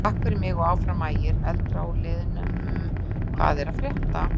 Takk fyrir mig og Áfram Ægir.Eldra úr liðnum Hvað er að frétta?